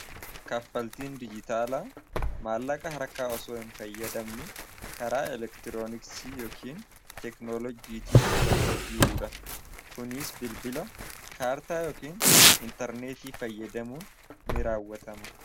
Kaffaltiin dijitaalaa maallaqa harkaa osoo hin fayyadamin karaa elektirooniksii yookiin teeknoolojiitiin wal jijjiiruu dha. Kuniis bilbila kaartaa yookiin intarneetii fayyadamuun ni raawwatama.